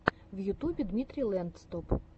в ютубе дмитрий лэндстоп